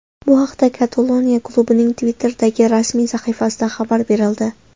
Bu haqda Kataloniya klubining Twitter’dagi rasmiy sahifasida xabar berildi .